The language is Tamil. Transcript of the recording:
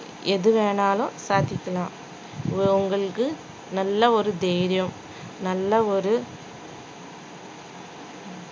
எது வேணாலும் பார்த்துக்கலாம் உங்களுக்கு நல்ல ஒரு தைரியம் நல்ல ஒரு